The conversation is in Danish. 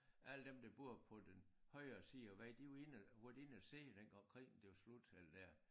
Alle dem der boede på den højre side af æ vej de var inde og været inde og se dengang krigen den var slut eller der